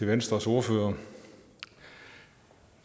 venstres ordfører